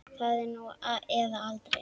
Það er nú eða aldrei.